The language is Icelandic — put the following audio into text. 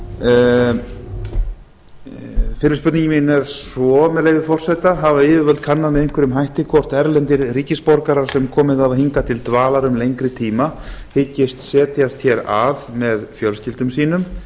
fyrri spurning mín er svo með leyfi forseta fyrsta hafa yfirvöld kannað með einhverjum hætti hvort erlendir ríkisborgarar sem komið hafa hingað til dvalar um lengri tíma hyggist setjast hér að með fjölskyldum sínum